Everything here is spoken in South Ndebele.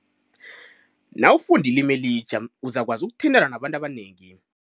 Nawufunda ilimi elitjha uzakwazi ukuthintana nabantu abanengi.